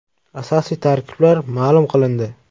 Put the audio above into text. Asosiy tarkiblar ma’lum qilindi.